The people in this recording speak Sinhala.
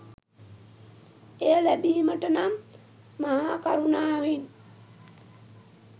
එය ලැබීමට නම් මහාකරුණාවෙන්